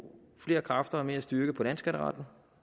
flere kræfter og mere styrke på landsskatteretten